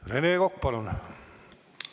Rene Kokk, palun!